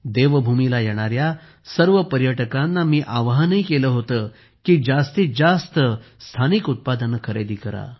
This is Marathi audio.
मी देवभूमीला येणाऱ्या सर्व पर्यटकांना आवाहन केले होते की जास्तीत जास्त स्थानिक उत्पादने खरेदी करा